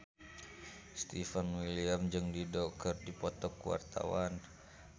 Stefan William jeung Dido keur dipoto ku wartawan